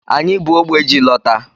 Anyị bu ógbè ji lọta.